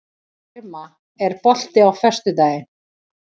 Irma, er bolti á föstudaginn?